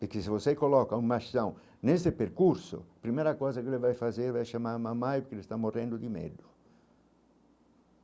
Porque se você coloca um machão, nesse percurso, a primeira coisa que ele vai fazer é chamar a mamãe, porque ele está morrendo de medo.